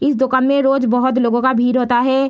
इस दुकान में रोज बहुत लोगो का भीड़ होता है ।